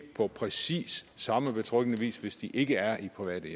på præcis samme betryggende vis hvis de ikke er i private